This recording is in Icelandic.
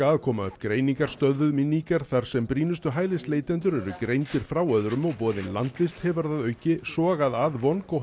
að koma upp greiningarstöðvum í Níger þar sem brýnustu hælisleitendur eru greindir frá öðrum og boðin landvist hefur að auki sogað að